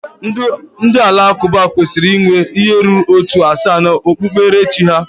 Ndị Alakụba kwesịrị inwe ihe ruru ótù asaa na okpukperechi ha